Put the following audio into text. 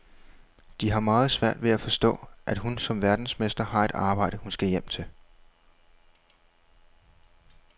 De har meget svært ved at forstå, at hun som verdensmester har et arbejde, hun skal hjem til.